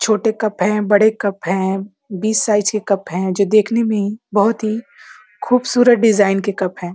छोटे कप हैं। बड़े कप हैं। बीस साइज के कप है जो देखने में बहुत ही खूबसूरत डिज़ाइन के कप हैं।